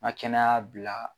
Ŋa kɛnɛya bila